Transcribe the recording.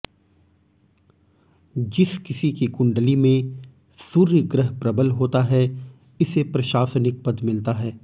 जिस किसी की कुंडली में सूर्य ग्रह प्रबल होता है इसे प्रशासानिक पद मिलता है